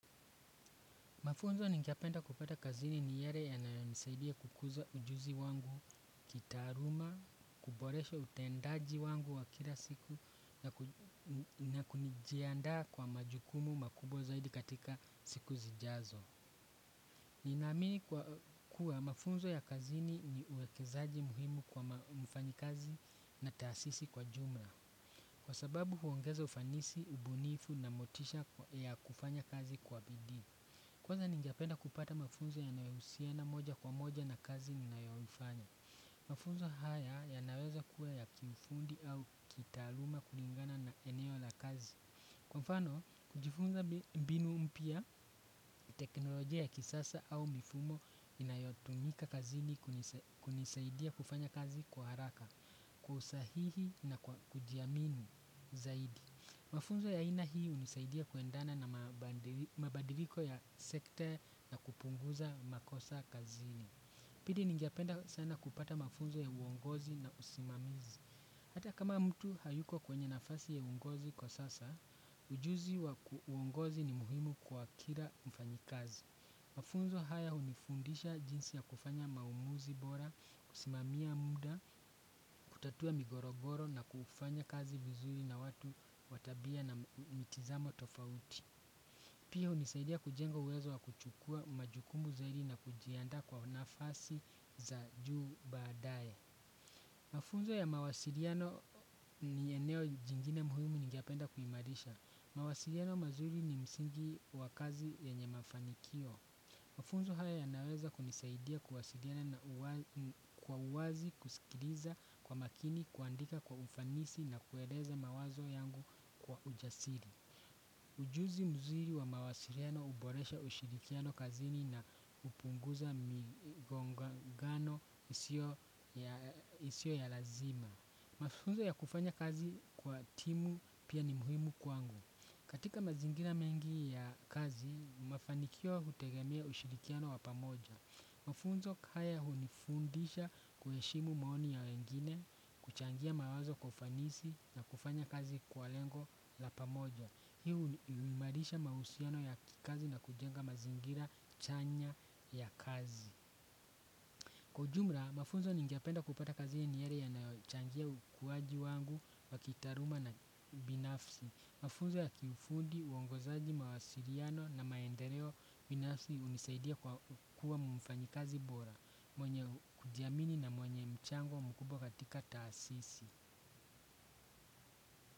Mafunzo nigependa kupata kazini ni yele yananisaidia kukuza ujuzi wangu kitaaluma kuboresha utendaji wangu wa kila siku na kuni jiandaa kwa majukumu makubwa zaidi katika siku zijazo. Ninaamini kwa kuwa mafunzo ya kazini ni uwekezaji muhimu kwa mfanyikazi na taasisi kwa jumla. Kwa sababu huongeza ufanisi, ubunifu na motisha ya kufanya kazi kwa bidii. Kwanza ningependa kupata mafunzo yanayohusiana moja kwa moja na kazi ninayo ifanya. Mafunzo haya yanaweza kuwa ya kiufundi au kitaaluma kulingana na eneo la kazi. Kwa mfano kujifunza mbinu mpya teknolojia ya kisasa au mifumo inayotunika kazini kunisaidia kufanya kazi kwa haraka kwa usahihi na kwa kujiamini zaidi. Mafunzo ya ina hii hunisaidia kuendana na mabadiliko ya sekte na kupunguza makosa kazini. Pili ningependa sana kupata mafunzo ya uongozi na usimamizi. Hata kama mtu hayuko kwenye nafasi ya uongozi kwa sasa ujuzi wa uongozi ni muhimu kwa kila mfanyikazi. Mafunzo haya hunifundisha jinsi ya kufanya maamuzi bora kusimamia muda kutatua migogoro na kufanya kazi vizuri na watu wa tabia na mitizamo tofauti. Pia hunisaidia kujenga uwezo wa kuchukua majukumu zaidi na kujiandaa kwa nafasi za juu badaye. Mafunzo ya mawasiliano ni eneo jingine muhimu ningependa kuimarisha. Mawasiliano mazuri ni msingi wa kazi yenye mafanikio. Mafunzo haya yanaweza kunisaidia kuwasiliana kwa uwazi kusikiliza kwa makini kuandika kwa ufanisi na kueleza mawazo yangu kwa ujasiri. Ujuzi mzuri wa mawasiliana huboresha ushirikiano kazini na hupunguza migongano isio ya lazima. Mafunzo ya kufanya kazi kwa timu pia ni muhimu kwangu. Katika mazingira mengi ya kazi mafanikio hutegemea ushirikiano wa pamoja. Mafunzo kaya hunifundisha kuheshimu maoni ya wengine kuchangia mawazo kwa ufanisi na kufanya kazi kwa lengo la pamoja. Hii huimarisha mahusiano ya kikazi na kujenga mazingira chanya ya kazi. Kwa jumla, mafunzo ningependa kupata kazi ni ile inayochangia ukuwaji wangu wa kitaaluma na ubinafsi. Mafuza ya kifundi uongozaji mawasiliano na maendeleo binafsi hunisaidia kwa kuwa mfanyikazi bora mwenye kujiamini na mwenye mchango mkubwa katika taasisi.